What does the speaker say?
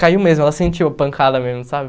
Caiu mesmo, ela sentiu a pancada mesmo, sabe?